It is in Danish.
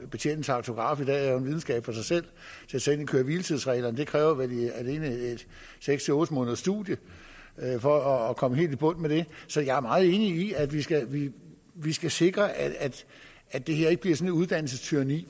betjene en tachograf er jo en videnskab i sig selv og selve køre hvile tids reglerne kræver vel alene seks otte måneders studium for at komme helt i bund med det så jeg er meget enig i at vi skal vi skal sikre at det her ikke bliver sådan et uddannelsestyranni